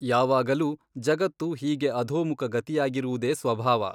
ಯಾವಾಗಲೂ ಜಗತ್ತು ಹೀಗೆ ಅಧೋಮುಖ ಗತಿಯಾಗಿರುವುದೇ ಸ್ವಭಾವ.